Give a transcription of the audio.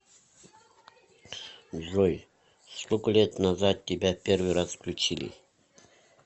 джой сколько лет назад тебя первый раз включили